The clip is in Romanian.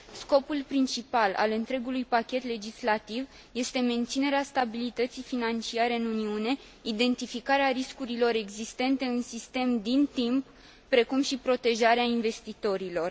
Scopul principal al întregului pachet legislativ este menținerea stabilității financiare în Uniune, identificarea riscurilor existente în sistem din timp, precum și protejarea investitorilor.